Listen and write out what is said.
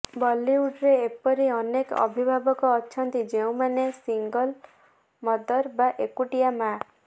ବଳିଉଡରେ ଏପରି ଅନେକ ଅଭିଭାବକ ଅଛନ୍ତି ଯେଉଁମାନେ ସିଙ୍ଗଲ ମଦର ବା ଏକୁଟିଆ ମାଆ